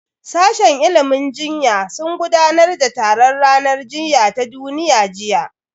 Sashen ilimin jinya sun gudanar da taron ranar jinya ta duniya jiya